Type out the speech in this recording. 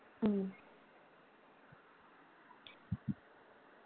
ഉം